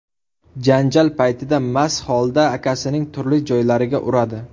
janjal paytida mast holda akasining turli joylariga uradi.